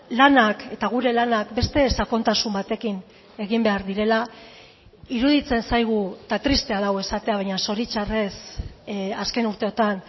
lanak eta gure lanak beste sakontasun batekin egin behar direla iruditzen zaigu eta tristea da hau esatea baina zoritxarrez azken urteotan